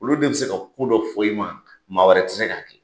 Olu de be se ka ko dɔ fɔ i ma, maa wɛrɛ ti se k'a kɛ.